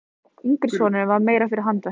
Yngri sonurinn var meira fyrir handverkið.